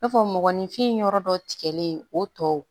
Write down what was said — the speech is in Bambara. I n'a fɔ mɔgɔninfin yɔrɔ dɔ tigɛlen o tɔw